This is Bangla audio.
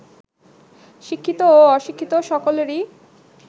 শিক্ষিত ও অশিক্ষিত সকলেরই